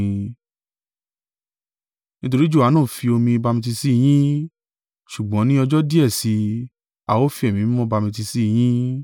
Nítorí Johanu fi omi bamitiisi yín, ṣùgbọ́n ní ọjọ́ díẹ̀ sí i, a o fi Ẹ̀mí Mímọ́ bamitiisi yín.”